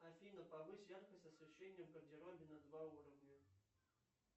афина повысь яркость освещения в гардеробе на два уровня